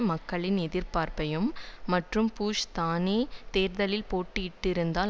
மக்களின் எதிர்ப்பையும் மற்றும் புஷ் தானே தேர்தலில் போட்டியிட்டிருந்தால்